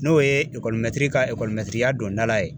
N'o ye ekɔlimɛtiri ka ekɔlimɛtiriya dondala ye